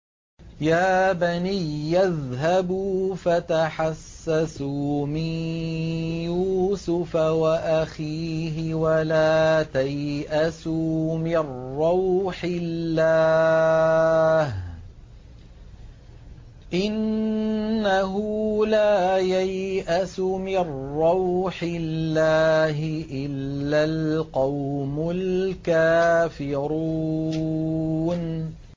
يَا بَنِيَّ اذْهَبُوا فَتَحَسَّسُوا مِن يُوسُفَ وَأَخِيهِ وَلَا تَيْأَسُوا مِن رَّوْحِ اللَّهِ ۖ إِنَّهُ لَا يَيْأَسُ مِن رَّوْحِ اللَّهِ إِلَّا الْقَوْمُ الْكَافِرُونَ